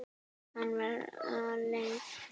Hann var aleinn.